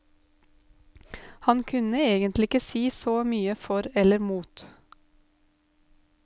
Han kunne egentlig ikke si så mye for eller mot.